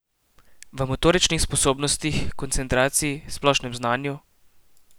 V motoričnih sposobnostih, koncentraciji, splošnem znanju ...